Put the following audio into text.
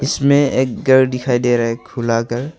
इसमें एक घर दिखाई दे रहा है खुला घर।